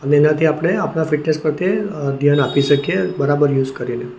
અને એનાથી આપણે આપણા ફિટનેસ પ્રત્યે ધ્યાન આપી શકીએ બરાબર યુઝ કરીને.